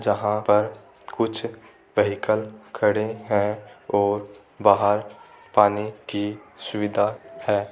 जहां पर कुछ व्हीकल खड़े हैं और बाहर पानी कि सुविधा है।